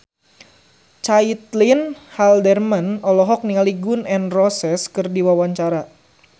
Caitlin Halderman olohok ningali Gun N Roses keur diwawancara